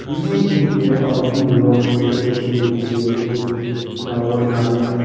behind him there are big rocks decorated with marigold flower garlands.